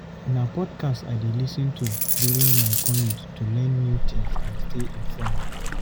Na podcasts I dey lis ten to during my commute to learn new things and stay informed.